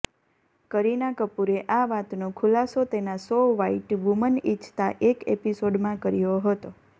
કરીના કપૂરે આ વાતનો ખુલાસો તેના શો વ્હાઈટ વુમન ઇચ્છતા એક એપિસોડમાં કર્યો હતો